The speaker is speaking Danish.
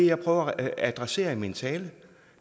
jeg prøver at adressere i min tale